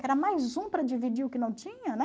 Que era mais um para dividir o que não tinha, né?